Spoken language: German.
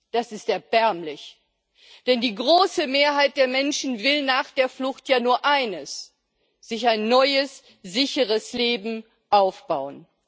Das ist erbärmlich, denn die große Mehrheit der Menschen will nach der Flucht ja nur eines, nämlich sich ein neues, sicheres Leben aufbauen.